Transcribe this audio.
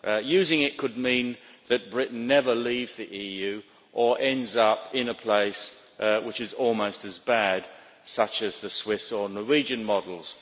Using it could mean that Britain never leaves the EU or ends up in a place which is almost as bad, such as the Swiss or Norwegian models.